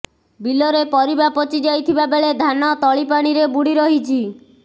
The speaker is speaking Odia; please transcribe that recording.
ବିଲରେ ପରିବା ପଚି ଯାଇଥିବା ବେଳେ ଧାନ ତଳି ପାଣିରେ ବୁଡ଼ି ରହିଛି